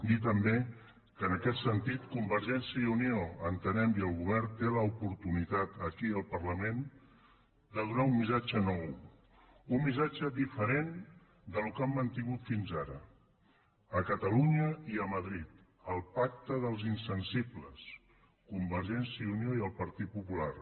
dir també que en aquest sentit convergència i unió entenem i el govern tenen l’oportunitat aquí al parlament de donar un missatge nou un missatge diferent del que han mantingut fins ara a catalunya i a madrid el pacte dels insensibles convergència i unió i el partit popular